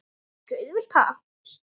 Ekki auðvelt ha?